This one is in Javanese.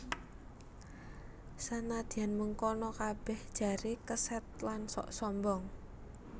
Sanadyan mengkono kabèh jaré kesèd lan sok sombong